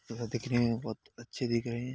तथा दिखने में बहुत अच्छे दिख रहे हैं।